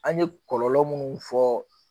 An ye kɔlɔlɔ munnu fɔ